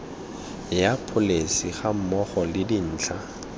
ya pholesi gammogo le dintlha